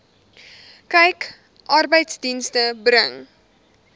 kyk arbeidsdienste bring